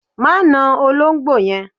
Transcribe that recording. Má na olóńgbò yẹn